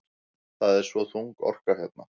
Það er svo þung orka hér.